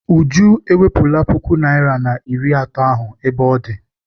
Uju ewepụla puku naịra na iri atọ ahụ ebe ọ dị.